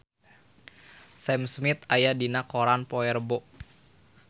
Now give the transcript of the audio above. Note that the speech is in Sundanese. Sam Smith aya dina koran poe Rebo